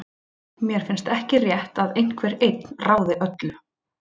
Mér finnst ekki rétt að einhver einn ráði öllu.